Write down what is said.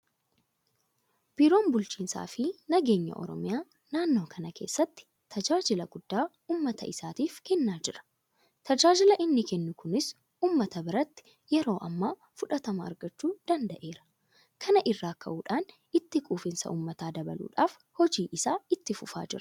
Biiroon bulchiinsaafi nageenya Oromiyaa naannoo kana keessatti tajaajila guddaa uummata isaatiif kennaa jira. Tajaajilli inni kennu kunis uummata biratti yeroo ammaa fudhatama argachuu danda'eera. Kana irraa ka'uudhaan itti quufinsa uummataa dabaluudhaaf hojii isaa itti fufaa jira.